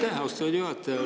Aitäh, austatud juhataja!